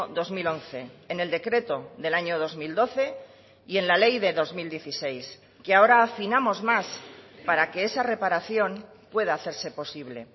dos mil once en el decreto del año dos mil doce y en la ley de dos mil dieciséis que ahora afinamos más para que esa reparación pueda hacerse posible